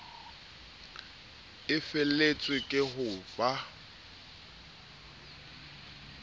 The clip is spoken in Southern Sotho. e feletswe ke ho ba